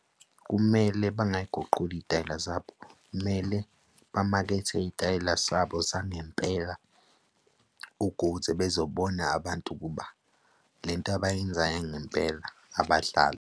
Kumele bangay'guquli iy'tayela zabo, kumele bamakethe iy'tayela zabo zangempela, ukuze bezobona abantu ukuba lento abayenzayo ingempela abadlali.